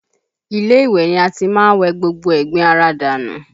Ilé ìwẹ̀ ni a ti má ń wẹ gbogbo ẹ̀gbin ara wa dànù